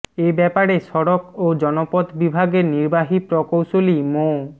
এ ব্যাপারে সড়ক ও জনপথ বিভাগের নির্বাহী প্রকৌশলী মো